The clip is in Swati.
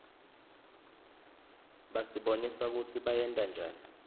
basibonisa kutsi bayentanjani